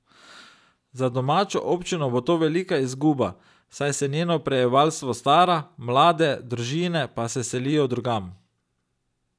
Za domačo občino bo to velika izguba, saj se njeno prebivalstvo stara, mlade družine pa se selijo drugam.